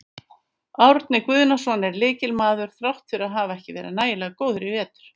Árni Guðnason er lykilmaður þrátt fyrir að hafa ekki verið nægilega góður í vetur.